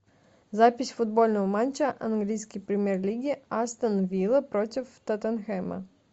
запись футбольного матча английской премьер лиги астон вилла против тоттенхэма